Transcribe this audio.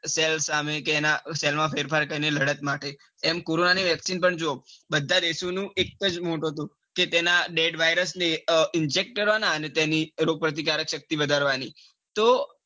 Cells સામે કે એના cells માં ફેરફાર થાયને લડત માટે એમ કોરોના ની vaccine પણ બધા દેશો નો એક જ motive હતો કે તેના dead vayrus ને inject કરવાના અને તેની રોગ પ્રતિકારક શક્તિ વધારવાની.